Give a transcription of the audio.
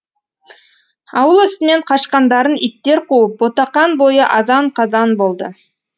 ауыл үстінен қашқандарын иттер қуып ботақан бойы азан қазан болды